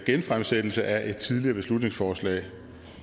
genfremsættelse af et tidligere beslutningsforslag